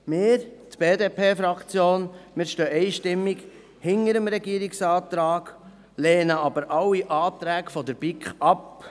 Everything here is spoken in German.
Wir, die BDP-Fraktion, stehen einstimmig hinter dem Regierungsratsantrag, lehnen aber alle Anträge der BiK ab.